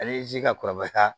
Ale ye ji ka kɔrɔbaya ka taa